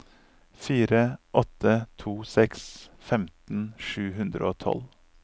fire åtte to seks femten sju hundre og tolv